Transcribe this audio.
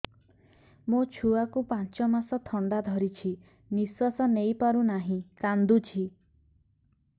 ମୋ ଛୁଆକୁ ପାଞ୍ଚ ମାସ ଥଣ୍ଡା ଧରିଛି ନିଶ୍ୱାସ ନେଇ ପାରୁ ନାହିଁ କାଂଦୁଛି